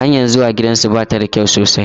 Hanyar zuwa gidansa ba ta da kyau sosai